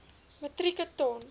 metrieke ton